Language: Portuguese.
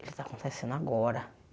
Ele está acontecendo agora.